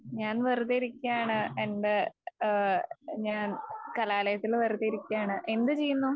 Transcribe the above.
ഞാൻ വെറുതെ ഇരിക്ക്യാണ്. എന്റെ ഏഹ് ഞാൻ കലാലയത്തിൽ വെറുതെ ഇരിക്ക്യാണ്. എന്ത് ചെയ്യുന്നു ?